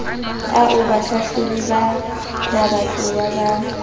ao bahlahlobi ba mabatowa ba